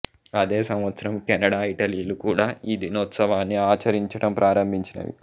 ఇదే సంవత్సరం కెనడా ఇటలీలు కూడా ఈ దినోత్సవాన్ని ఆచరించటం ప్రారంభించినవి